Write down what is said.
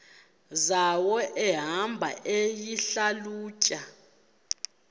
zawo ehamba eyihlalutya